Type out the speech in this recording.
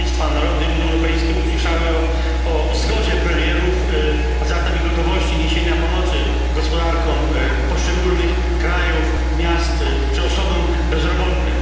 Narody Unii Europejskiej usłyszały o zgodzie premierów, a zatem i gotowości niesienia pomocy gospodarkom poszczególnych krajów, miastom czy osobom bezrobotnym.